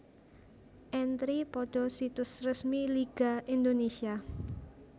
Entri pada situs resmi Liga Indonesia